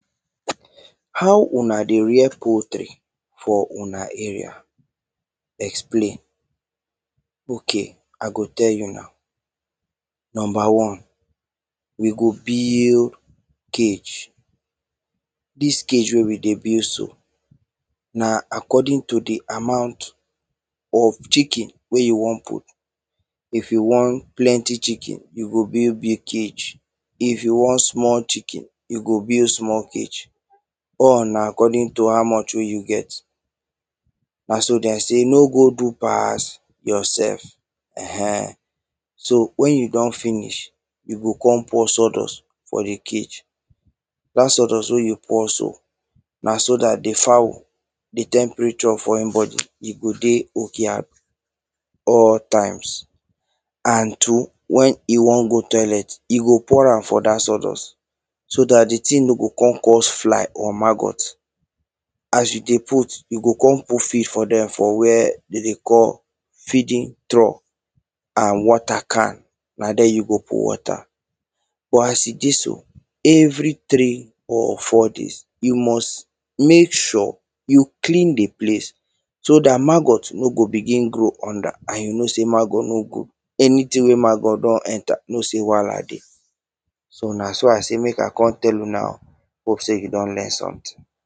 How una dey rear poultry for una area? Explain. Okay, I go tell you now. Number one: we go build cage. Dis cage wey we dey build so, na according to the amount of chicken wey you wan put. If you want plenty chicken, you go build big cage. If you want small chicken, you go build small cage. All na according to how much wey you get. Na so them say, no go do pass yourself. um So, when you don finish, you go come pour sawdust for the cage. Dat sawdust wey you pour so, na so dat the fowl, the temperature for im body, e go dey okay at all times. And to when he wan go toilet, he go pour am for dat sawdust. So dat the thing no go come cause fly or maggot. As you dey put, you go come put fish for them for where them dey call feeeding trough. And water can, na there you go put water. But, as e dey so, every three or four days, you must mek sure you clean the place so dat maggot no go begin grow under, and you know say maggot no good. Anything wey maggot don enter, you know say wahala dey. So, na so I say mek I come tell una o. Hope say you don learn something?